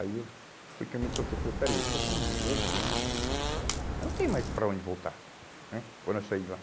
Aí eu, foi que eu me toquei, falei, peraí, estou com dezoito anos, eu não tenho mais para onde voltar né, quando eu sair de lá.